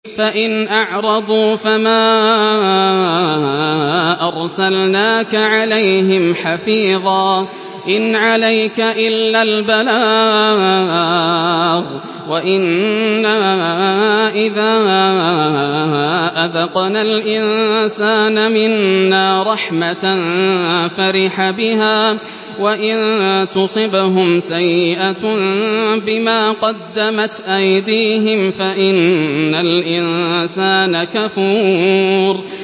فَإِنْ أَعْرَضُوا فَمَا أَرْسَلْنَاكَ عَلَيْهِمْ حَفِيظًا ۖ إِنْ عَلَيْكَ إِلَّا الْبَلَاغُ ۗ وَإِنَّا إِذَا أَذَقْنَا الْإِنسَانَ مِنَّا رَحْمَةً فَرِحَ بِهَا ۖ وَإِن تُصِبْهُمْ سَيِّئَةٌ بِمَا قَدَّمَتْ أَيْدِيهِمْ فَإِنَّ الْإِنسَانَ كَفُورٌ